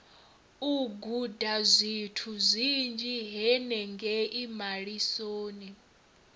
u gudazwithu zwinzhi henengei malisoni